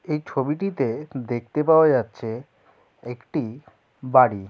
এই ছবিটিতে দেখতে পাওয়া যাচ্ছেএকটিই বাড়ি ।